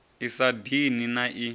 i sa dini na i